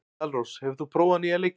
Dalrós, hefur þú prófað nýja leikinn?